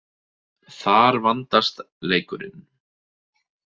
Þar vandast leikurinn.